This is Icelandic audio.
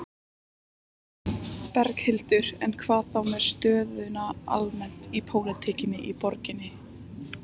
Berghildur: En hvað þá með stöðuna almennt í pólitíkinni í borginni?